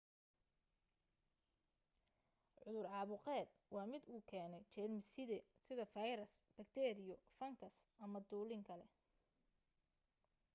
cudur caabuqeed waa mid uu keenay jeermis-side sida fayras bakteeriyo fangas ama dulin kale